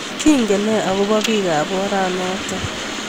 Kingen nee akobo biik ab oranot?